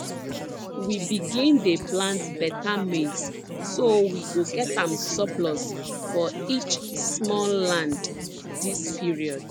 we begin dey plant beta maize so we go get am surplus for each small land dis period